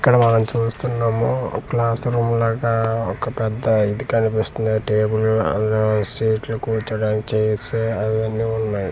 ఇక్కడ వాల్లని చూస్తున్నాము క్లాస్ రూమ్ లాగా ఒక పెద్ద ఇది కనిపిస్తుంది టేబుల్ ఆ సీట్లు కూర్చోడానికి చైర్స్ అవి అన్ని ఉన్నాయి .